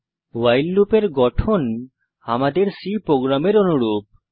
ভাইল লুপের গঠন আমাদের C প্রোগ্রামের অনুরূপ